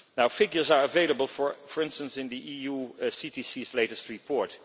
Figures are available, for instance in the EU CTC's latest report.